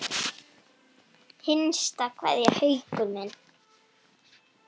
HINSTA KVEÐJA Haukur minn.